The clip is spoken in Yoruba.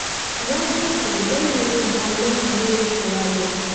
wọ́n jókòó lẹ́yìn onjẹ alẹ́ wo ìràwọ̀